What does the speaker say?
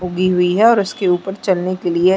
उगी हुई है और उसके ऊपर चलने के लिए --